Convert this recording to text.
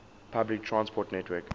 public transport network